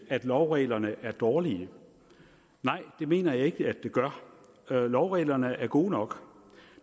at lovreglerne er dårlige nej det mener jeg ikke at det gør lovreglerne er gode nok